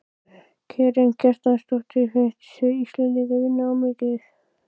Karen Kjartansdóttir: Finnst þér Íslendingar vinna of mikið?